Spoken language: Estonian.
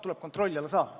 Jürgen Ligi, palun!